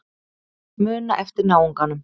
Muna eftir náunganum.